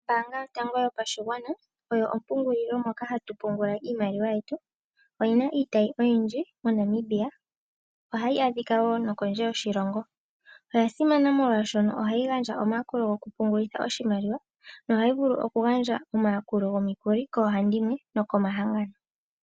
Ombaanga yotango yopashigwana, oyo ompungulilo moka hatu pungula iimaliwa yetu, oyina iitayi oyindji moNamibia. Ohayi adhikwa wo nokondje yoshiilongo, oyasimana molwashono ohayi gandja omayakulo gokupungulitha oshimaliwa na ohayi vulu okugandja omayakulo gomikuli koohandimwe nokomahangano.